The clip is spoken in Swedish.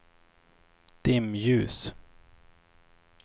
dimljus